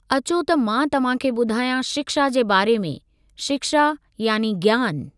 अचो त मां तव्हांखे ॿुधायां शिक्षा जे बारे में, शिक्षा यानी ज्ञान।